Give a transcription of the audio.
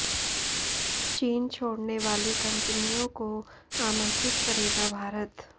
चीन छोडऩे वाली कंपनियों को आमंत्रित करेगा भारत